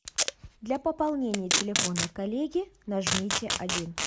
для пополнения телефона коллеги нажмите один